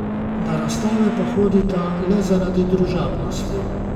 Na razstave pa hodita le zaradi družabnosti.